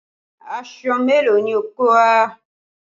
Aṣọ mélòó ni o kó wá?